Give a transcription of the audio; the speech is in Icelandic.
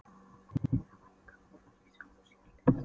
Að sigra mann í krók var í sjálfu sér list.